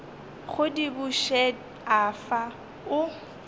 go di bušet afa o